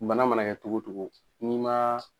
Bana mana kɛ togo togo ni ma.